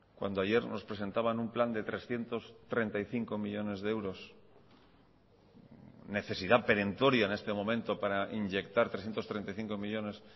cuando ayer nos presentaban un plan de trescientos treinta y cinco millónes de euros necesidad perentoria en este momento para inyectar trescientos treinta y cinco millónes